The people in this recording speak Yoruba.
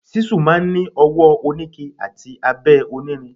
Ṣísù máa ń ni ọwọ oníke àti abẹ onírin.